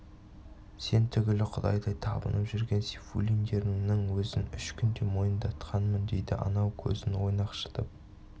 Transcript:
сен түгілі құдайдай табынып жүрген сейфуллиндеріңнің өзін үш күнде мойындатқанмын дейді анау көзін ойнақшытып